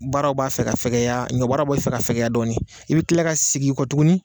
Baaraw b'a fɛ ka fɛkɛya, ɲɔ baaraw b'a fɛ ka fɛkɛya dɔɔnin i bɛ tila ka sigi i kɔ tuguni.